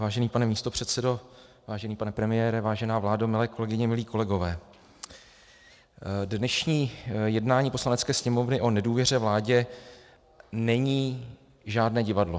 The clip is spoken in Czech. Vážený pane místopředsedo, vážený pane premiére, vážená vládo, milé kolegyně, milí kolegové, dnešní jednání Poslanecké sněmovny o nedůvěře vládě není žádné divadlo.